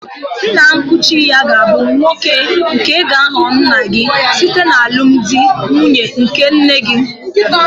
Nna nkuchi-ya gābu nwoke nke gāghọ nna-gi site n'alụmdi na nwunye nke nne-gi.